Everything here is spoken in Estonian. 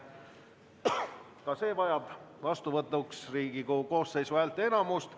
Ka see vajab vastuvõtuks Riigikogu koosseisu häälteenamust.